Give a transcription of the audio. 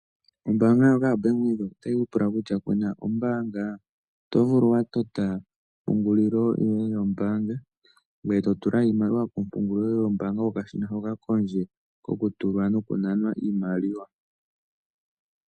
Ombaanga ndjoka yaBank Windhoek otayi ku pula kutya ku na ombaanga. Oto vulu wa tota ompungulilo yoye yombaanga ngoye to tula iimaliwa kompungulilo yoye yombaanga kokashina hoka kondje kokutulwa nokunanwa iimaliwa.